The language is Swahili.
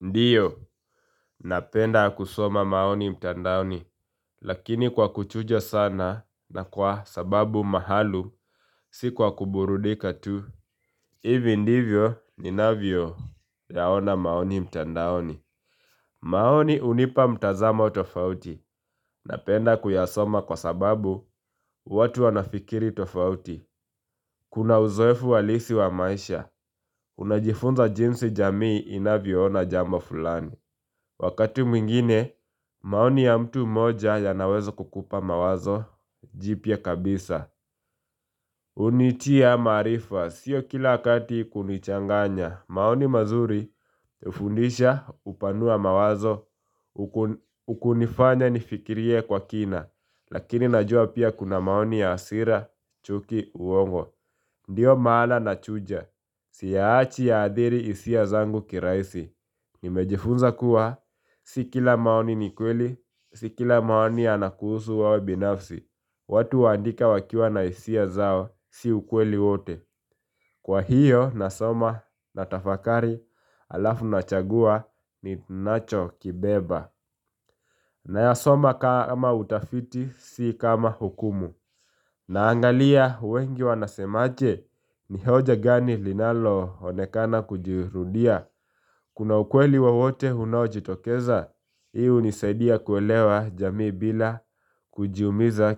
Ndiyo, napenda kusoma maoni mtandaoni, lakini kwa uchujo sana na kwa sababu maalum, si kwa kuburudika tu. Hivi ndivyo ninavyoyaona maoni mtandaoni. Maoni hunipa mtazamo tofauti, napenda kuyasoma kwa sababu watu wanafikiri tofauti. Kuna uzoefu ualisi wa maisha, unajifunza jinsi jamii inavyoona jambo fulani. Wakati mwingine maoni ya mtu mmoja yanaweza kukupa mawazo jipya kabisa hunitia maarifa sio kila wakati kunichanganya maoni mazuri hufundisha hupanua mawazo huku hunifanya nifikirie kwa kina Lakini najua pia kuna maoni ya hasira chuki uongo Ndiyo maana nachuja siyaachi ya athiri hisia zangu kirahisi Nimejifunza kuwa, si kila maoni ni kweli, si kila maoni anakuhusu wewe binafsi watu waandika wakiwa na hisia zao, si ukweli wote Kwa hiyo, nasoma, natafakari, alafu nachagua, ninachokibeba Nayasoma kama utafiti, si kama hukumu Naangalia, wengi wanasemaje, ni hoja gani linaloonekana kujirudia Kuna ukweli wowote unaojitokeza, hii hunisadia kuelewa jamii bila kujiumiza